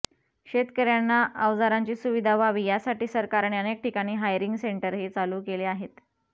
शेतकऱ्यांना अवजारांची सुविधा व्हावी यासाठी सरकारने अनेक ठिकाणी हायरिंग सेंटरही चालू केली आहेत